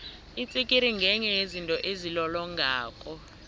itsikiri ngenye yezinto ezilolongako